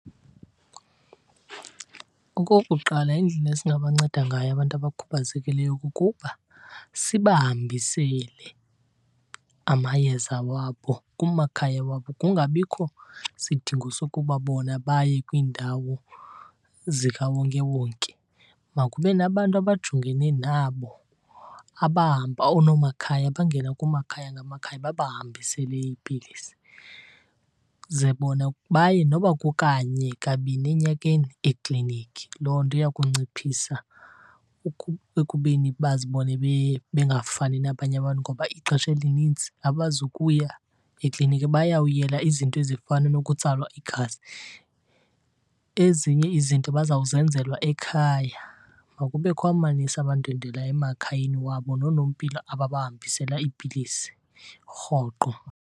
Okokuqala, indlela esingabanceda ngayo abantu abakhubazekileyo kukuba sibahambisele amayeza wabo kumakhaya wabo, kungabikho sidingo sokuba bona baye kwiindawo zikawonkewonke. Makube nabantu abajongene nabo abahamba, oonomakhaya bangene kumakhaya ngamakhaya babahambisele iipilisi. Ze bona baye noba kukanye kabini enyakeni ekliniki. Loo nto iya kunciphisa ekubeni bazibone bengafani nabanye bantu ngoba ixesha elinintsi abazukuya ekliniki. Bayawuyela izinto ezifana nokutsalwa igazi, ezinye izinto bazawuzenzelwa ekhaya. Makubekho amanesi abandwendwelayo emakhayeni wabo noonompilo ababahambisela iipilisi rhoqo.